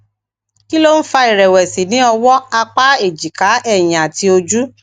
kí ló ń fa ìrèwèsì ní ọwó apá ejika èyìn àti ojú